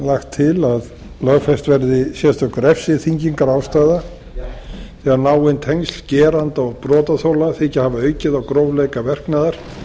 lagt til að lögfest verði sérstök refsiþyngingarástæða þegar náin tengsl geranda og brotaþola þykja hafa aukið á grófleika verknaðar